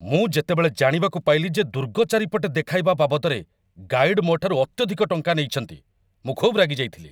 ମୁଁ ଯେତେବେଳେ ଜାଣିବାକୁ ପାଇଲି ଯେ ଦୁର୍ଗ ଚାରିପଟେ ଦେଖାଇବା ବାବଦରେ ଗାଇଡ୍ ମୋ'ଠାରୁ ଅତ୍ୟଧିକ ଟଙ୍କା ନେଇଛନ୍ତି, ମୁଁ ଖୁବ୍ ରାଗିଯାଇଥିଲି ।